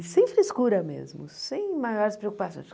E sem frescura mesmo, sem maiores preocupações.